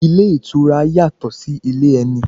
Ilé ìtura yàtọ̀ sí ilé ẹni.